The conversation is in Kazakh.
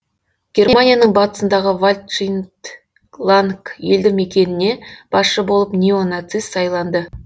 германияның батысындағы валдшидланг елді мекеніне басшы болып неонацист сайланды